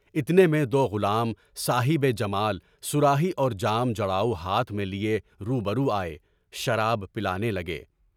اتنے میں دو غلام صاحب جمال صراحی اور جام جڑاؤ ہاتھ میں لیے روبرو آئے، شراب پلانے لگے۔